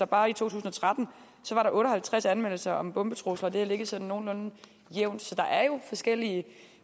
bare i to tusind og tretten var der otte og halvtreds anmeldelser om bombetrusler og det har ligget sådan nogenlunde jævnt så der er jo forskellige